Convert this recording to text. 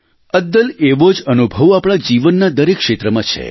અદ્લ એવો જ અનુભવ આપણા જીવનના દરેક ક્ષેત્રમાં છે